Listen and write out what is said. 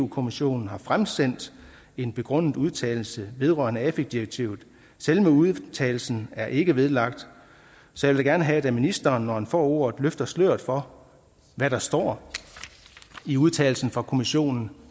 kommissionen har fremsendt en begrundet udtalelse vedrørende afi direktivet selve udtalelsen er ikke vedlagt så jeg vil gerne have at ministeren når han får ordet løfter sløret for hvad der står i udtalelsen fra kommissionen